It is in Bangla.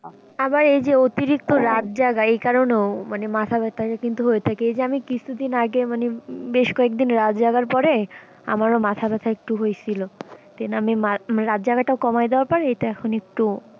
আবার এই যে অতিরিক্ত রাত জাগা এই কারনেও মানে মাথা ব্যাথা কিন্তু হয়ে থাকে আমি কিছু দিন আগে মানে বেশ কয়েকদিন রাত জাগার পরে আমারও মাথা ব্যাথা একটু হইসিলো then আমি রাত জাগা টাও কমাই দিবার পর এটা এখন একটু,